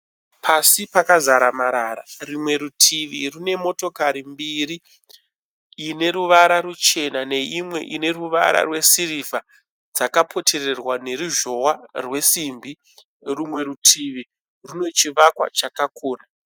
Pasi pakazara marara. Rumwe rutivi rune motokari mbiri ineruvara rwuchena neimwe ineruvara rwesirivha. Dzakaputirirwa neruzhowa rwesimbi. Rumwe rutivi rine chivakwa chakakura